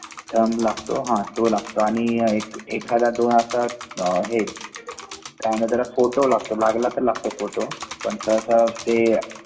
थम लागतो आणि एखादा दोन असे हे काय म्हणता त्याला फोटो लागतो लागला त लागतो फोटो पण सहसा ते